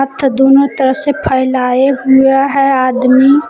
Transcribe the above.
दोनों तरफ से फैलाए हुए हैं आदमी।